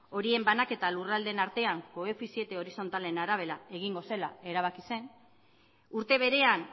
horien banaketa lurraldeen artean koefiziente horizontalen arabera egingo zela erabaki zen urte berean